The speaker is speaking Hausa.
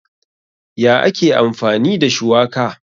Ya ake amfani da shuwaka?